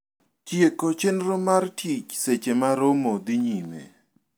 Tieko chendro mar tich seche ma romo dhii nyime